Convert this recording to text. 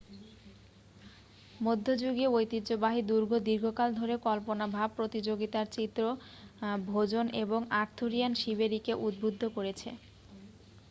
মধ্যযুগীয় ঐতিহ্যবাহী দুর্গ দীর্ঘকাল ধরে কল্পনাভাব প্রতিযোগিতার চিত্র ভোজন এবং আর্থুরিয়ান শিবেরিকে উদ্বুদ্ধ করেছে